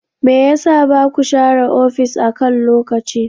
Me yasa baku share ofis akan lokaci?